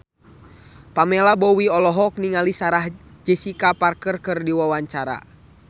Pamela Bowie olohok ningali Sarah Jessica Parker keur diwawancara